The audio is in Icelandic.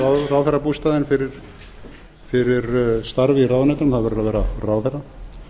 ráðherrabústaðinn fyrir starf í ráðuneytinu það verður að vera ráðherra í þriðja lagi kom fram að